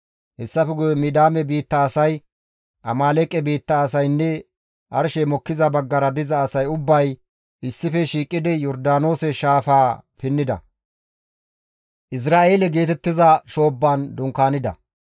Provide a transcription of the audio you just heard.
Hessafe guye Midiyaame biitta asay, Amaaleeqe biitta asaynne arshey mokkiza baggara diza asay ubbay issife shiiqidi Yordaanoose shaafaa pinnida; Izra7eele geetettiza shoobban dunkaanida.